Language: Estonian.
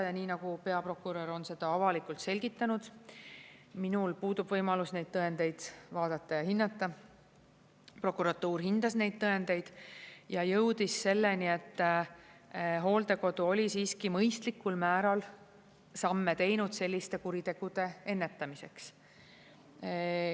Ja nii nagu peaprokurör on seda avalikult selgitanud, minul puudub võimalus neid tõendeid vaadata ja hinnata, prokuratuur hindas neid tõendeid ja jõudis selleni, et hooldekodu oli siiski mõistlikul määral samme teinud selliste kuritegude ennetamiseks.